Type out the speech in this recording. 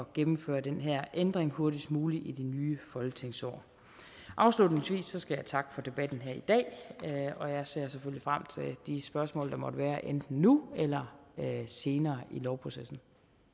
gennemføre den her ændring hurtigst muligt i det nye folketingsår afslutningsvis skal jeg takke for debatten her i dag og jeg ser selvfølgelig frem til de spørgsmål der måtte være enten nu eller senere i lovprocessen